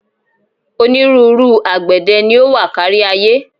Onírúnrú àgbẹ̀dẹ ni ó wà kárí-ayé.